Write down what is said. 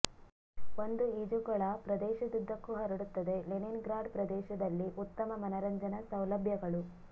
ಒಂದು ಈಜುಕೊಳ ಪ್ರದೇಶದುದ್ದಕ್ಕೂ ಹರಡುತ್ತದೆ ಲೆನಿನ್ಗ್ರಾಡ್ ಪ್ರದೇಶದಲ್ಲಿ ಉತ್ತಮ ಮನರಂಜನಾ ಸೌಲಭ್ಯಗಳು